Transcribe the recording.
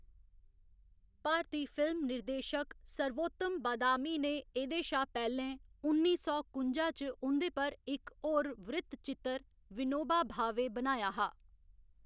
भारती film निर्देशक सर्वोत्तम बादामी ने एह्‌‌‌दे शा पैह्‌लें उन्नी सौ कुंजा च उं'दे पर इक होर वृत्तचित्र, विनोबा भावे, बनाया हा।